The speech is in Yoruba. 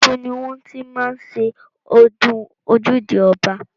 Ibo ni wọ́n ti máa ń ṣe ọdún ojúde ọba?